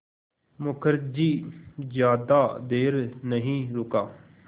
मुखर्जी ज़्यादा देर नहीं रुका